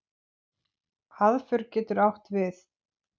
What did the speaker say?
Aðför getur átt við